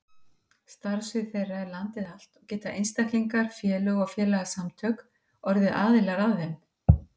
Starfsvið þeirra er landið allt og geta einstaklingar, félög og félagasamtök orðið aðilar að þeim.